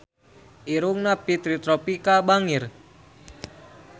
Irungna Fitri Tropika bangir